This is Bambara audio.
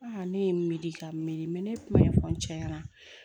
ne ye n miiri ka miiri ne ye kuma in fɔ n cɛ ɲɛna